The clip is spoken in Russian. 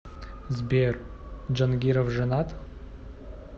сбер джангиров женат